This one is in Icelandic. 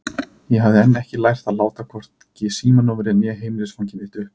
Ég hafði enn ekki lært að láta hvorki símanúmerið né heimilisfangið mitt uppi.